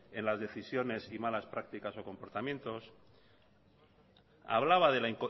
en las decisiones y malas prácticas o comportamientos hablaba de la